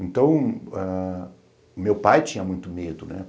Então, meu pai tinha muito medo, né?